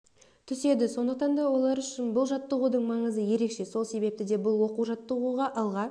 түседі сондықтан да олар үшін бұл жаттығудың маңызы ерекше сол себепті де бұл оқу-жаттығуға алға